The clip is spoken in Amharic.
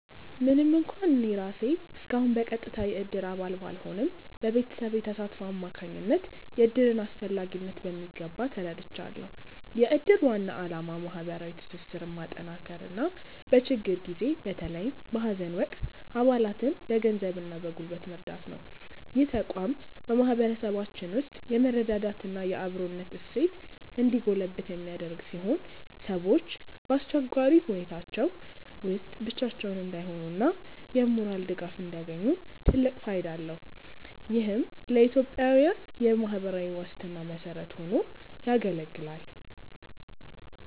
ምንም እንኳን እኔ ራሴ እስካሁን በቀጥታ የእድር አባል ባልሆንም፣ በቤተሰቤ ተሳትፎ አማካኝነት የእድርን አስፈላጊነት በሚገባ ተረድቻለሁ። የእድር ዋና ዓላማ ማህበራዊ ትስስርን ማጠናከርና በችግር ጊዜ በተለይም በሀዘን ወቅት አባላትን በገንዘብና በጉልበት መርዳት ነው። ይህ ተቋም በማህበረሰባችን ውስጥ የመረዳዳትና የአብሮነት እሴት እንዲጎለብት የሚያደርግ ሲሆን፣ ሰዎች በአስቸጋሪ ሁኔታዎች ውስጥ ብቻቸውን እንዳይሆኑና የሞራል ድጋፍ እንዲያገኙ ትልቅ ፋይዳ አለው። ይህም ለኢትዮጵያዊያን የማህበራዊ ዋስትና መሰረት ሆኖ ያገለግላል።